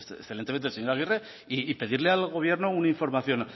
excelentemente el señor aguirre y pedirle al gobierno una información